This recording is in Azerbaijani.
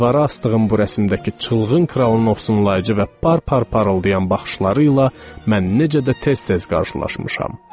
Divara asdığım bu rəsmdəki çılğın kralın ovsunlayıcı və bar parıldayan baxışları ilə mən necə də tez-tez qarşılaşmışam.